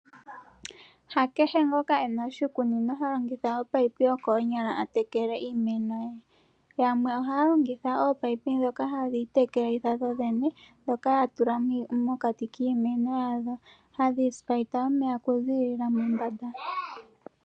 Ha kehe ngoka ena oshikunino ha longitha o pipe yo koonyala a tekele iimeno ye. Yamwe ohaya longitha oopipe ndhoka hadhi itekelitha dhodhene, ndhoka ya tula mokati kiimeno yadho hadhi spaita omeya oku ziilila mombanda.